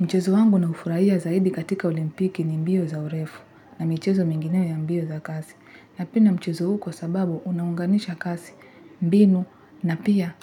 Mchezo wangu na ufurahia zaidi katika olimpiki ni mbio za urefu na mchezo mingineo ya mbio za kasi. Napenda mchezo huu kwa sababu unaunganisha kasi, mbinu na pia